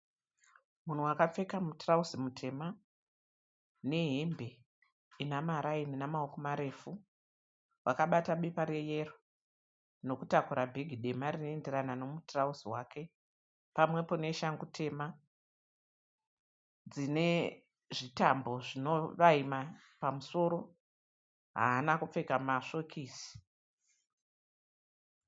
Munhu wakapfeka mutirauzi mutema nehembe inamaraini inamaoko marefu. Wakabata bepa reyero nokutakura bhegi dema rinoenderana nomutirauzi wake pamwepo neshangu tema dzinezvitambo zvinovaima pamusoro. Haana kupfeka masvokisi.